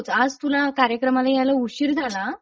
आज तुला कार्यक्रमाला यायला उशीर झाला हा?